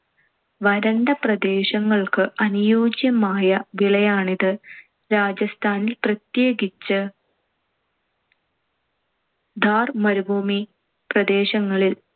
വരണ്ട പ്രദേശങ്ങൾക്ക് അനുയോജ്യമായ വിളയാണിത്. രാജസ്ഥാനിൽ പ്രത്യേകിച്ച് താർ മരുഭൂമി പ്രദേശങ്ങളിൽ